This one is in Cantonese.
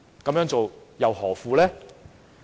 這樣做又何苦？